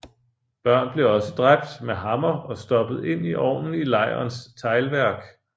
Børn blev også dræbt med hammer og stoppet ind i ovnen i lejrens teglværk